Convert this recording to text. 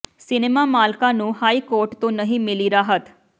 cinema ਮਾਲਕਾਂ ਨੂੰ high court ਤੋਂ ਨਹੀਂ ਮਿਲੀ ਰਾਹਤ